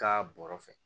Ka bɔrɔ fɛ